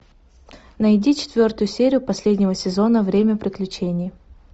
найди четвертую серию последнего сезона время приключений